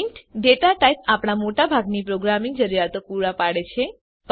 int data type આપણા મોટાભાગની programming જરૂરિયાતો માટે પૂરું પડે છે